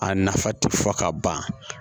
A nafa tɛ fɔ ka ban